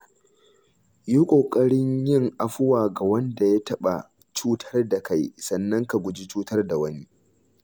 Yi ƙoƙarin yin afuwa ga wanda ya taɓa cutar da kai sannan ka guji cutar da wani.